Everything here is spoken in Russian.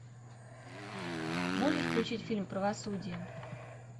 можешь включить фильм правосудие